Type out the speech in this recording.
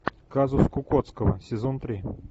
казус кукоцкого сезон три